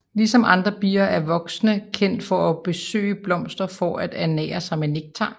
Ligesom andre bier er voksne kendt for at besøge blomster for at ernære sig med nektar